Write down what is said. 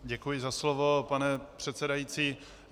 Děkuji za slovo, pane předsedající.